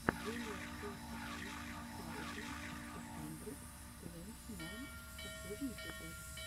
джулиа сорти сыкс саузенд ту хандрэд твэнти найн последний эпизод